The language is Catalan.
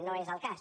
no és el cas